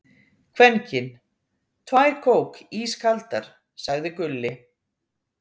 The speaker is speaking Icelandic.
Kvenkyn: Tvær kók, ískaldar, sagði Gulli.